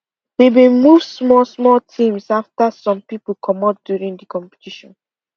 we been move go small small teams after some people comot during the competition